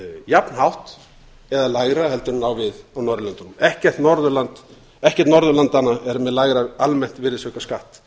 jafnhátt eða lægra heldur en á við á norðurlöndunum ekkert norðurlandanna er með lægra almennt virðisaukaskattsþrep